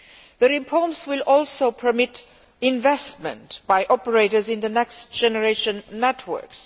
The reforms will also permit investment by operators in the next generation networks.